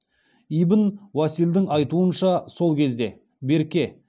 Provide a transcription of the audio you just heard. ибн уасилдың айтуынша сол кезде берке